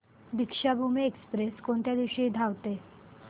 Deekshabhoomi express कोणत्या दिवशी धावते